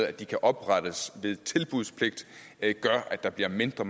at de kan oprettes ved tilbudspligt gør at der bliver mindre